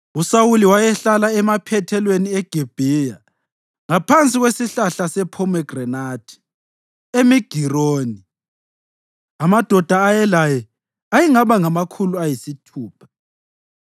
USawuli wayehlala emaphethelweni eGibhiya ngaphansi kwesihlahla sephomegranathi eMigironi. Amadoda ayelaye ayengaba ngamakhulu ayisithupha,